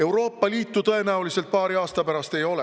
Euroopa Liitu tõenäoliselt paari aasta pärast ei ole.